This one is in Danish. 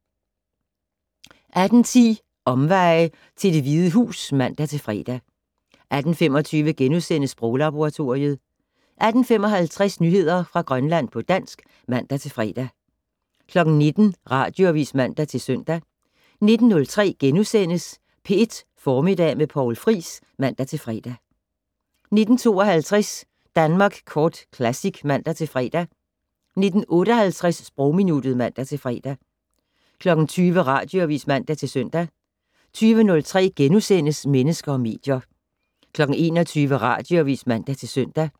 18:10: Omveje til det Hvide Hus (man-fre) 18:25: Sproglaboratoriet * 18:55: Nyheder fra Grønland på dansk (man-fre) 19:00: Radioavis (man-søn) 19:03: P1 Formiddag med Poul Friis *(man-fre) 19:52: Danmark Kort Classic (man-fre) 19:58: Sprogminuttet (man-fre) 20:00: Radioavis (man-søn) 20:03: Mennesker og medier * 21:00: Radioavis (man-søn)